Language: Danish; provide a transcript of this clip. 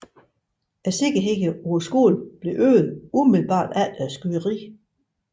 Sikkerheden på skolen blev øget umiddelbart efter skyderiet